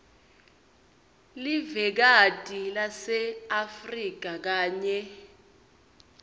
livekati laseafrika kanye